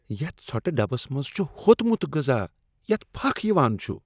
یتھ ژھۄٹہٕ ڈبس منٛز چھ ہوتمُت غذا یَتھ پھكھ یوان چُھ۔